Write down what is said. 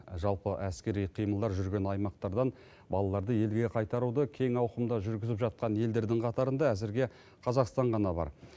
жалпы әскери қимылдар жүрген аймақтардан балаларды елге қайтаруды кең ауқымда жүргізіп жатқан елдердің қатарында әзірге қазақстан ғана бар